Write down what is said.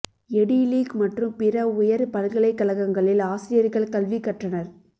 eddy League மற்றும் பிற உயர் பல்கலைக்கழகங்களில் ஆசிரியர்கள் கல்வி கற்றனர்